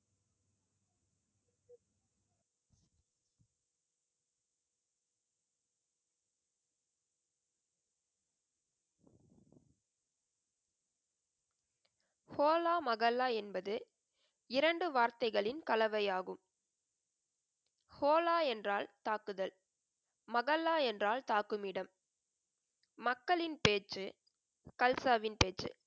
ஹோலா மகல்லா என்பது, இரண்டு வார்த்தைகளின் கலவையாகும். ஹோலா என்றால் தாக்குதல், மகல்லா என்றால் தாக்குமிடம். மக்களின் பேச்சு, கல்சாவின் பேச்சு.